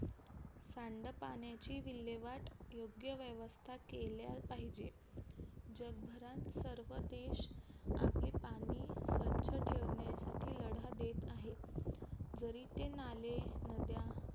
सांडपाण्याची विल्हेवाट योग्य व्यवस्था केल्या पाहिजे जगभरात सर्व देश आपली पाणी स्वच्छ ठेवण्यासाठी लढा देत आहे जरी ते नाले नद्या